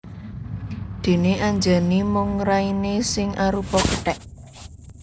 Déné Anjani mung rainé sing arupa kethèk